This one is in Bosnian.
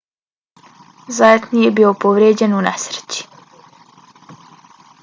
zayat nije bio povrijeđen u nesreći